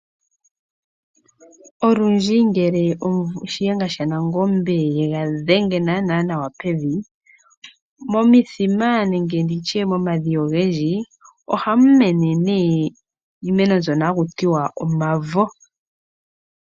Olundji ngele shiyenga sha nangombe ye ga dhenge nawa pevi. Momithima nenge momadhiya ogendji o hamu mene iimeno mbyono ha ku tiwa omavo